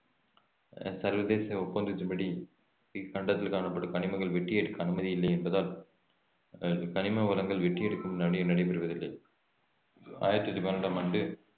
அஹ் சர்வதேச ஒப்பந்தத்தின்படி இக்கண்டத்தில் காணப்படும் கனிமங்கள் வெட்டி எடுக்க அனுமதி இல்லை என்பதால் அஹ் கனிம வளங்கள் வெட்டி எடுக்கும் நடை~ நடைபெறுவதில்லை ஆயிரத்தி பன்னிரண்டாம் ஆண்டு